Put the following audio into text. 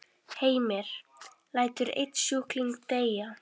Heimir: Lætur einn sjúkling deyja?